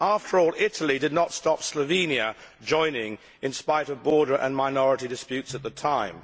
Italy, after all, did not stop Slovenia joining in spite of border and minority disputes at the time.